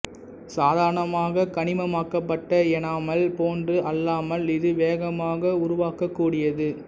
சாதாரணமாக கனிமமாக்கப்பட்ட எனாமல் போன்று அல்லாமல் இது வேகமாக உருவாகக்கூடியது